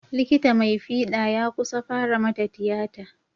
Likita mai fiɗa ya kusa fara mata tiyata.